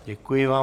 Děkuji vám.